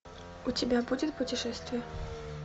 у тебя будет путешествия